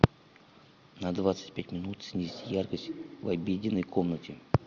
на двадцать пять минут снизь яркость в обеденной комнате